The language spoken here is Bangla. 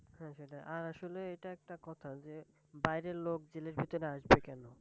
হ্যাঁ সেটাই, আর আসলে এটা একটা কথা যে বাইরের লোক জেলের ভিতরে আসবে কেন?